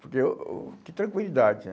Porque eu, que tranquilidade, né?